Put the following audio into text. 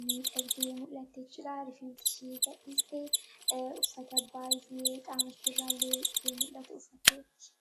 miidhagdee mul'atte jechuudha. Rifeensa ishee gadhiistee uffata baay'ee qaama ishee irraa illee ifee mul'atu uffatteetti.